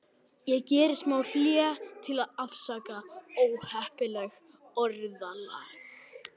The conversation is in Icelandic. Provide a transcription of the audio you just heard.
Ég geri smá hlé, til að afsaka óheppilegt orðalag.